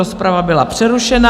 Rozprava byla přerušena.